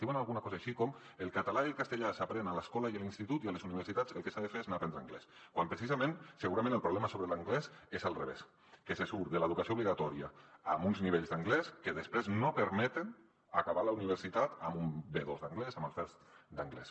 diuen alguna cosa així com el català i el castellà s’aprenen a l’escola i a l’institut i a les universitats el que s’ha de fer és anar hi a aprendre anglès quan precisament segurament el problema sobre l’anglès és al revés que se surt de l’educació obligatòria amb uns nivells d’anglès que després no permeten acabar la universitat amb un b2 d’anglès amb el first d’anglès